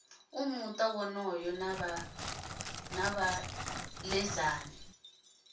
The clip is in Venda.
a muta wonoyo na vhaledzani